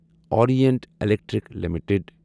Orient Electric limited